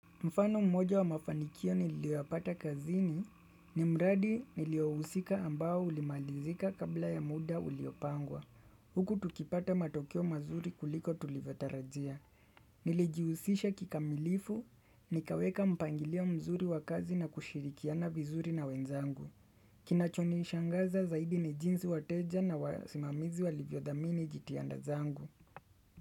Mfano mmoja wa mafanikio niliyoyapata kazini ni mradi niliousika ambao ulimalizika kabla ya muda uliopangwa. Huku tukipata matokeo mazuri kuliko tulivyotarajia. Nilijiusisha kikamilifu, nikaweka mpangilio mzuri wakazi na kushirikiana vizuri na wenzangu. Kinachoni ishangaza zaidi ni jinsi wateja na wasimamizi walivyodhamini jitianda zangu.